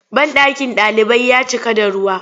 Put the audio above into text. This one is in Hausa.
Banɗakin ɗalibai ya cika da ruwa.